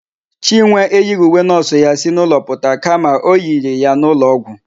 Chinwe eyighị uwe nọọsụ ya si n'ụlọ pụta kama o yiri ya n'ụlọọgwụ.